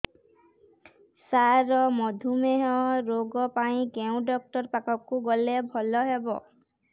ସାର ମଧୁମେହ ରୋଗ ପାଇଁ କେଉଁ ଡକ୍ଟର ପାଖକୁ ଗଲେ ଭଲ ହେବ